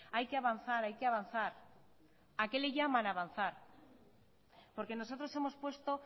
hay que avanzar hay que avanzar a qué le llaman avanzar porque nosotros hemos puesto